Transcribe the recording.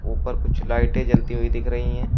ऊपर कुछ लाइटें जलती हुई दिख रही है।